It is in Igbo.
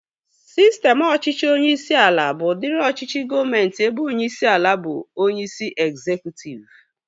Sistem ọchịchị onyeisi ala bụ udiri ọchịchị gọọmenti ebe onyeisi ala bụ onyeisi ezekutiv